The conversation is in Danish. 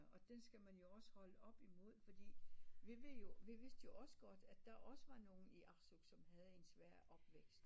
Og det skal man jo også holde op imod fordi vi ved jo vi vidste jo også godt at der også var nogle i Arsuk som havde en svær opvækst